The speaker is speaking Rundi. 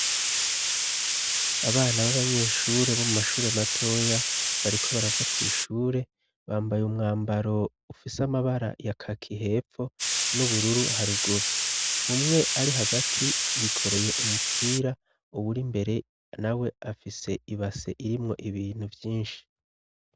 Abana b'abanyeshure bo mu mashure matoya bariko barava kw'ishure bambaye umwambaro ufise amabara ya kaki hepfo n'ubururu haruguru umwe ari hagati yikoreye umupira uwuri imbere na we afise ibase irimwo ibintu vyinshi.